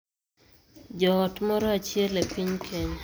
Joot moro achiel e piny Kenya,